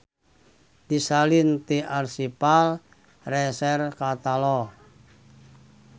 Disalin ti Archival Research Catalog.